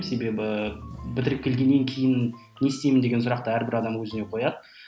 себебі бітіріп келгеннен кейін не істеймін деген сұрақты әрбір адам өзіне қояды